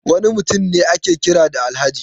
Wani mutum ne ake kira da Alhaji?